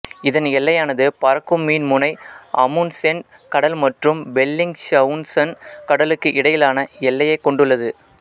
இதன் எல்லையானது பறக்கும் மீன் முனை அமுண்ட்சென் கடல் மற்றும் பெல்லிங்ஷவுசன் கடலுக்கு இடையிலான எல்லையை கொண்டுள்ளது